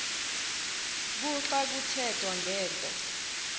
kuxa kuthethwa ngento